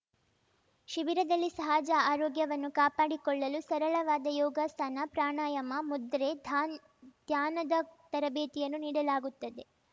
ಶಿಬಿರದಲ್ಲಿ ಸಹಜ ಆರೋಗ್ಯವನ್ನು ಕಾಪಾಡಿಕೊಳ್ಳಲು ಸರಳವಾದ ಯೋಗಾಸನ ಪ್ರಾಣಾಯಾಮ ಮುದ್ರೆ ಧಾನ್ ಧ್ಯಾನದ ತರಬೇತಿಯನ್ನು ನೀಡಲಾಗುತ್ತದೆ